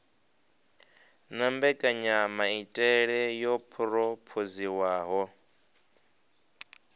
na mbekanyamaitele yo phurophoziwaho hu